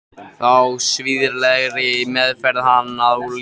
Þá svívirðilegri meðferð hans á líki Gizurar.